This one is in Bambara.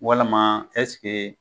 Walama